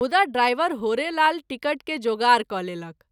मुदा driver Horelal ticket के जोगार क’ लेलक।